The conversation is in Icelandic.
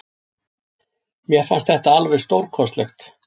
Mér fannst þetta alveg stórkostlegt.